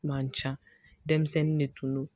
Man ca denmisɛnnin de tun do